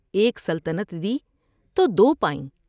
ایک سلطنت دی تو دو پائیں ۔